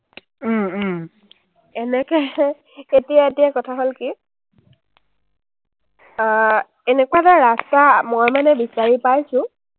এনেকে, এতিয়া, এতিয়া কথা হ’ল কি। আহ এনেকুৱা এটা ৰাস্তা মই মানে বিচাৰি পাইছো,